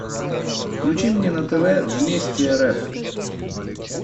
включи мне на тв вместе рф